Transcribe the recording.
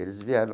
Eles vieram.